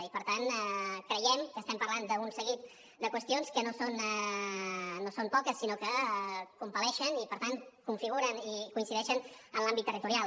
i per tant creiem que estem parlant d’un seguit de qüestions que no són poques sinó que compel·leixen i per tant configuren i coincideixen en l’àmbit territorial